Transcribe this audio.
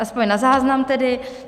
Aspoň na záznam tedy.